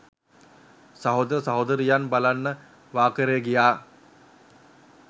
සහෝදර සහෝදරියන් බලන්න වාකරේ ගියා